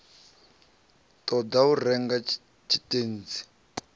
ṱo ḓa u renga tshitentsi